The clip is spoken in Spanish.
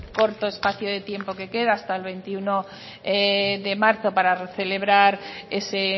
corto espacio de tiempo que queda hasta el veintiuno de marzo para celebrar ese